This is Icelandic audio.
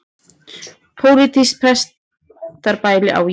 Pólitískt pestarbæli á ég við.